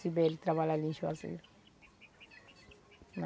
Sibeli trabalha ali em Juazeiro.